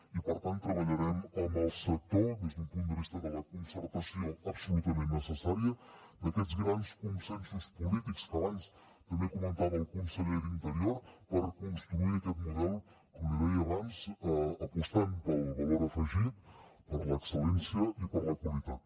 i per tant treballarem amb el sector des d’un punt de vista de la concertació absolutament necessària d’aquests grans consensos polítics que abans també comentava el conseller d’interior per construir aquest model com li deia abans apostant pel valor afegit per l’excel·lència i per la qualitat